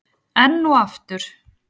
Enn og aftur?